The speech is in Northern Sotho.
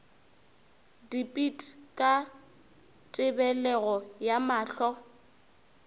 dipit ka tebelego ya mahlo